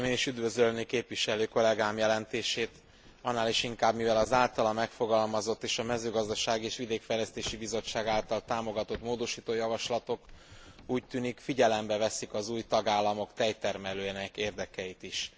Szeretném én is üdvözölni képviselő kollégám jelentését, annál is inkább, mivel az általa megfogalmazott és a Mezőgazdasági és Vidékfejlesztési Bizottság által támogatott módosító javaslatok úgy tűnik, figyelembe veszik az új tagállamok tejtermelőinek érdekeit is.